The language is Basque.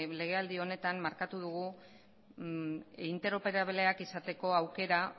legealdi honetan markatu dugu interoperableak izateko aukera